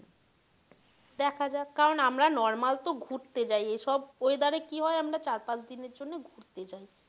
দেখা যাক কারন আমরা normal তো ঘুরতে যাই এসব weather এ কি হয় আমরা চার পাঁচ দিনের জন্য ঘুরতে যাই।